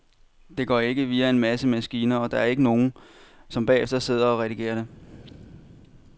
Det går ikke via en masse maskiner, og der er ikke nogle, som bagefter sidder og redigerer det.